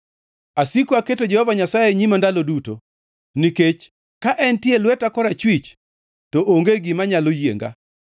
Asiko aketo Jehova Nyasaye e nyima ndalo duto. Nikech ka entie e lweta korachwich, to onge gima nyalo yienga.